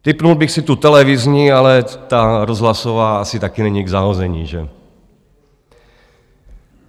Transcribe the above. Tipnul bych si tu televizní, ale ta rozhlasová asi taky není k zahození, že?